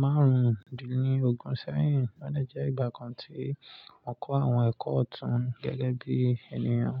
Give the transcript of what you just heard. márùndínlógún sẹ́yìn. Ó de jẹ́ ìgbà kan tí mo kọ́ àwọn ẹ̀kọ́ ọ̀tún gẹ́gẹ́ bí ènìyàn.